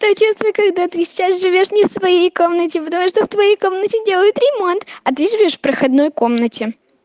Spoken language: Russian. то чувство когда ты сейчас живёшь не в своей комнате потому что в твоей комнате делают ремонт а ты живёшь в проходной комнате